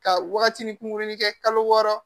Ka waagatinin kunkurunin kɛ kalo wɔɔrɔ